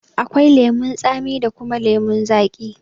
Akwai lemun tsami da kuma lemun zaƙi.